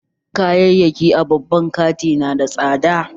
Kayayyaki a babban kanti nada tsada